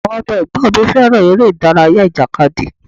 Àwọn ọmọ ẹ̀gbọ́n mi fẹ́ràn ère-ìdárayá ìjàkadì.